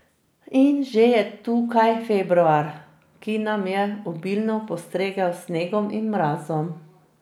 In že je tukaj februar, ki nam je obilno postregel s snegom in mrazom.